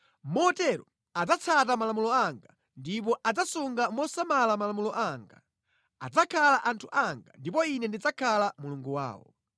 Motero adzatsata malamulo anga ndipo adzasunga mosamala malamulo anga. Adzakhala anthu anga, ndipo Ine ndidzakhala Mulungu wawo.